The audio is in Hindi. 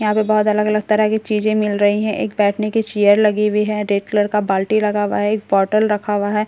यहां पे बहुत अलग-अलग तरह की चीजें मिल रही हैं एक बैठने की चेयर लगी हुई है रेड कलर का बाल्‍टी लगा हुआ है एक बॉटल रखा हुआ है एक --